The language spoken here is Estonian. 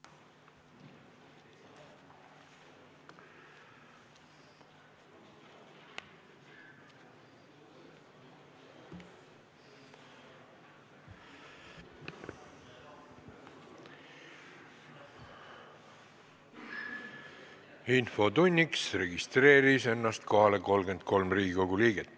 Kohaloleku kontroll Infotunnis registreeris ennast kohalolijaks 33 Riigikogu liiget.